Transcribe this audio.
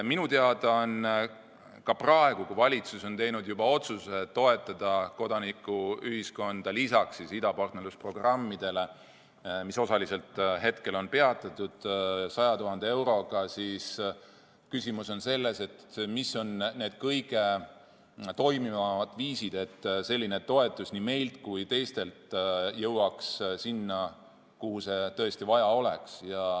Minu teada on praegu, kui valitsus on teinud juba otsuse toetada kodanikuühiskonda lisaks idapartnerlusprogrammidele, mis hetkel on osaliselt peatatud, 100 000 euroga, küsimus selles, mis on need kõige toimivamad viisid, kuidas selline toetus nii meilt kui ka teistelt jõuaks sinna, kuhu seda tõesti vaja oleks.